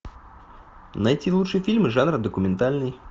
найти лучшие фильмы жанра документальный